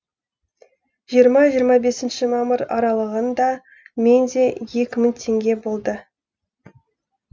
жиырма жиырма бесіншімамыр аралығын да мен де екі мың теңге болды